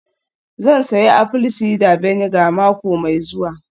Zan sayi apple cider vinegar mako mai zuwa